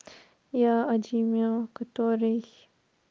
я одимио который